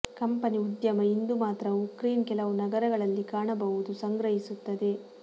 company ಉದ್ಯಮ ಇಂದು ಮಾತ್ರ ಉಕ್ರೇನ್ ಕೆಲವು ನಗರಗಳಲ್ಲಿ ಕಾಣಬಹುದು ಸಂಗ್ರಹಿಸುತ್ತದೆ